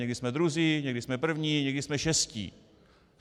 Někdy jsme druzí, někdy jsme první, někdy jsme šestí.